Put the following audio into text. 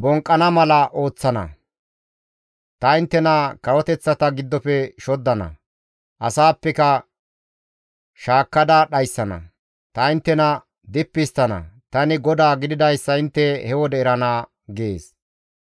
bonqqana mala ooththana; ta inttena kawoteththata giddofe shoddana; asaappeka shaakkada dhayssana; ta inttena dippi histtana. Tani GODAA gididayssa intte he wode erana› gees.